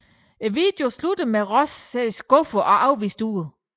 Videoen slutter med Ross ser skuffet og afvist ud